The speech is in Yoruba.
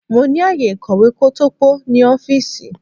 Mo ní ààyè ìkọ̀wé kótópó ní ọ́fíìsì.